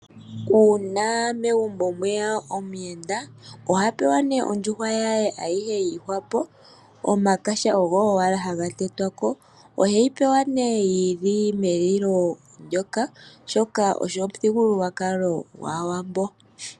Uuna megumbo mweya omuyenda oha pewa ondjuhwa ye ayihe yi ihwapo , ya kuthwa wala omanyala. Oheyi pewa yi li metiti oshoka ogo omuthigululwakalo gwAawambo.